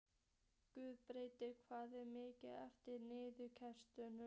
Guðbergur, hvað er mikið eftir af niðurteljaranum?